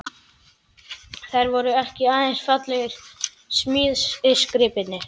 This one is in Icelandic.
Þær voru ekki aðeins fallegir smíðisgripir.